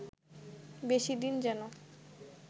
বেশি দিন যেন